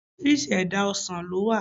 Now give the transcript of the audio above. Orísirísi èdá ọsàn lówà